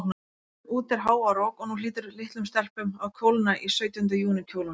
Úti er hávaðarok, og nú hlýtur litlum stelpum að kólna í sautjánda júní kjólunum.